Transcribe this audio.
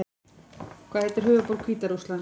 Hvað heitir höfuðborg Hvíta Rússlands?